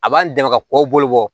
A b'an dɛmɛ ka kɔ bolo bɔ